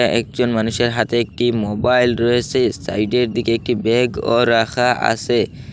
একজন মানুষের হাতে একটি মোবাইল রয়েছে সাইডের দিকে একটি ব্যাগও রাখা আছে।